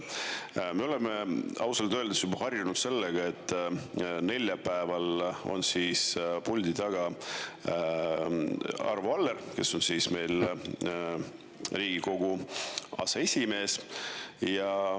Me oleme ausalt öeldes juba harjunud sellega, et neljapäeval on puldi taga Arvo Aller, kes on meil Riigikogu aseesimees.